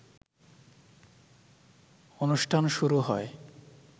অনুষ্ঠান শুরু হয়